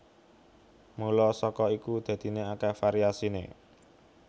Mula saka iku dadiné akèh variasiné